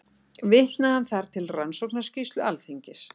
Vitnaði hann þar til Rannsóknarskýrslu Alþingis